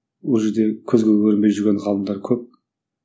ол жерде көзге көрінбей жүрген ғалымдар көп